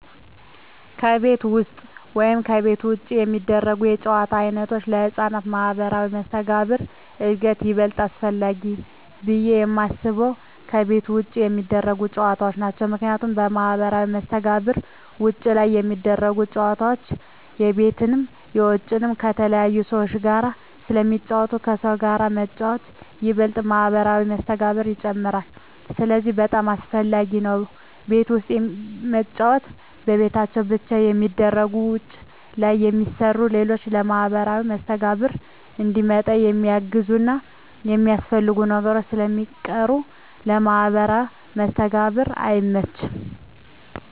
ከቤት ውስጥ ወይም ከቤት ውጭ የሚደረጉ የጨዋታ ዓይነቶች ለሕፃናት ማኅበራዊ መስተጋብር እድገት ይበልጥ አስፈላጊው ብየ የማስበው ከቤት ውጭ የሚደረጉ ጨዎታዎች ናቸው ምክንያቱም ለማህበራዊ መስተጋብር ውጭ ላይ ሚደረጉት ጨወታዎች የቤትንም የውጭንም ከተለያዩ ሰዎች ጋር ስለሚጫወቱ ከሰዎች ጋር መጫወት ይበልጥ ማህበራዊ መስተጋብርን ይጨምራል ስለዚህ በጣም አሰፈላጊ ነው ቤት ውስጥ መጫወት በቤታቸው ብቻ ስለሚገደቡ ውጭ ላይ የሚሰሩ ሌሎች ለማህበራዊ መስተጋብር እንዲመጣ የሚያግዙና የሚያስፈልጉ ነገሮች ስለሚቀሩ ለማህበራዊ መስተጋብር አይመችም።